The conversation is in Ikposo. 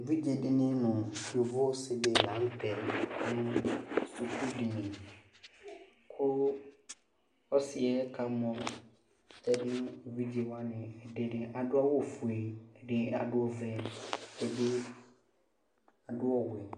Evidzedɩnɩ nʋ yovo ɔsɩdɩnɩ la nʋtɛɛ nʋ sukudini:kʋ ɔsɩɛ kamɔ tɛdʋ evidzewanɩ Ɛdɩ adʋ awʋfue, ɛdɩnɩ adʋ ɔvɛ ;ɛdɩ dʋɔɔ